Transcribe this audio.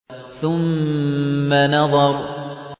ثُمَّ نَظَرَ